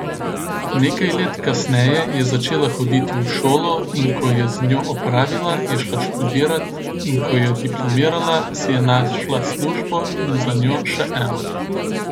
Nekaj let kasneje je začela hoditi v šolo, in ko je z njo opravila, je šla študirat, in ko je diplomirala, si je našla službo in za njo še eno.